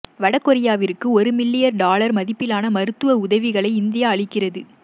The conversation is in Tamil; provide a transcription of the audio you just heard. வடகொரியாவிற்கு ஒரு மில்லிய டொலர் மதிப்பிலான மருத்துவ உதவிகளை இந்தியா அளிக்கிறது